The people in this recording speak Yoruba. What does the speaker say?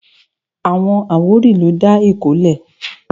Àwọn àwórì ló dá Èkó lẹ̀